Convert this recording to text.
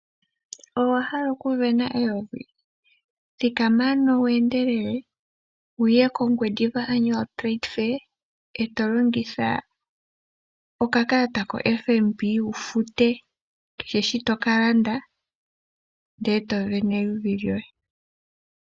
Owa hala okuvena eyovi? Thikama ano wu endelele, wu ye kOngwediva Annual Trade Fair, eto longitha okakalata koFNB wu fute kehe shi to ka landa, ndele to vene eyuvi lyoye.